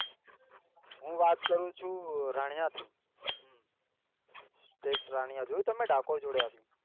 હું વાત કરું છુ રાણીયા થી state રાણીયા જોયું તમે ડાકોર જોડે આવ્યું